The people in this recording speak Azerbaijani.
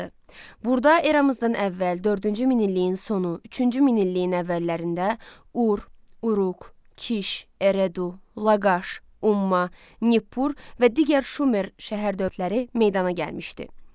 Burada eramızdan əvvəl dördüncü minilliyin sonu, üçüncü minilliyin əvvəllərində Ur, Uruq, Kiş, Eredu, Laqaş, Umma, Nippur və digər Şumer şəhər dövlətləri meydana gəlmişdi.